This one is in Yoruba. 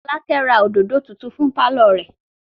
Fọ́lákẹ́ ra òdòdó tuntun fún pálọ̀ rẹ̀.